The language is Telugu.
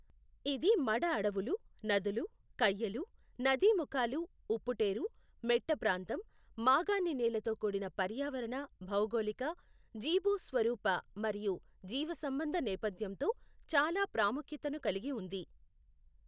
ఇది మడ అడవులు, నదులు, కయ్యలు, నదీముఖాలు, ఉప్పుటేఱు, మెట్ట ప్రాంతం, మాగాణినేలతో కూడిన పర్యావరణ, భౌగోళిక, జీభూస్వరూప మరియు జీవసంబంధ నేపథ్యంతో చాలా ప్రాముఖ్యతను కలిగి ఉంది.